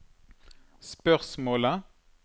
spørsmålet